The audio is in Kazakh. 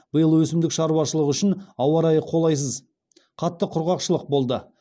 биыл өсімдік шаруашылығы үшін ауа райы қолайсыз қатты құрғақшылық болды